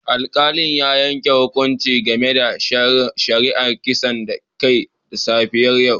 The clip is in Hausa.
Alkalin ya yanke hukunci game da shari'ar kisan kai da safiyar yau